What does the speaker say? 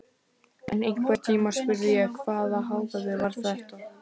En einhvern tímann spurði ég: Hvaða hávaði var þetta?